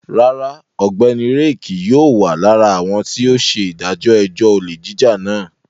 Rárá, Ọgbẹni Ray kii yóò wa lara awọn ti o ṣe idajọ ẹjọ ole jija náà